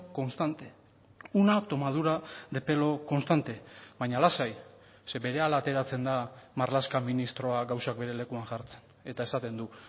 constante una tomadura de pelo constante baina lasai ze berehala ateratzen da marlaska ministroa gauzak bere lekuan jartzen eta esaten du